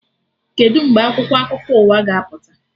Kedụ mgbe akwụkwọ akụkọ ụwa ga-apụta?